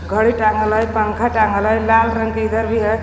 घड़ी टांगल हैपंखा टांगल है लाल रंग के इधर भी ह.